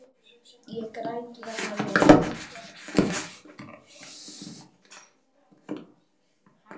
Ég græt vegna mín.